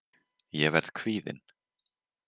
Ég verð kvíðin.